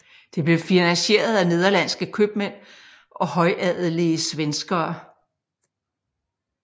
Det blev finansieret af nederlandske købmænd og højadelige svenskere